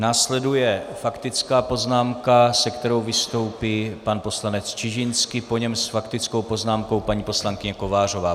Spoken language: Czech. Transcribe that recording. Následuje faktická poznámka, se kterou vystoupí pan poslanec Čižinský, po něm s faktickou poznámkou paní poslankyně Kovářová.